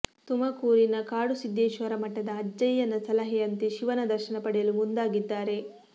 ತುಮಕೂರಿನ ಕಾಡುಸಿದ್ದೇಶ್ವರ ಮಠದ ಅಜ್ಜಯ್ಯನ ಸಲಹೆಯಂತೆ ಶಿವನ ದರ್ಶನ ಪಡೆಯಲು ಮುಂದಾಗಿದ್ದಾರೆ